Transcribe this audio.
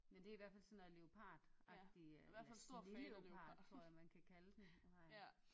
Men det er i hvert fald sådan noget leopardagtig eller sneleopard tror jeg man kan kalde den